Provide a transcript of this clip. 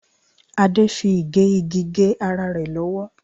Adé fi igẹ igi gé ara rẹ̀ lọ́wọ́.